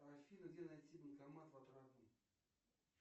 афина где найти банкомат в отрадном